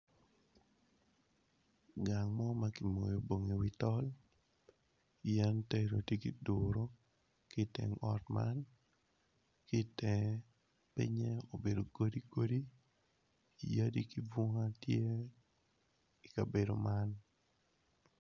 Gang mo ma ki moyo bongo i wi tol yen tedo tye kiduro kiteng ot man kitenge pinye obedo godi godi yadi kibunga tye i kabedo man.